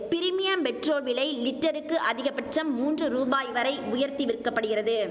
premium petrol விலை லிட்டருக்கு அதிகபட்சம் மூன்று ரூபாய் வரை உயர்த்தி விற்கப்படுகிறது